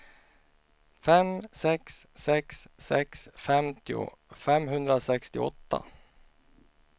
fem sex sex sex femtio femhundrasextioåtta